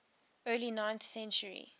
early ninth century